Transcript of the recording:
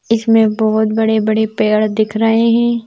इसमें बहुत बड़े-बड़े पैड़ दिख रहे हैं।